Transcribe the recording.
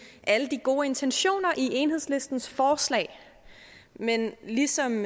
alle de gode intentioner i enhedslistens forslag men ligesom